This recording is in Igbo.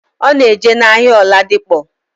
Ona eje na ahia aldipo.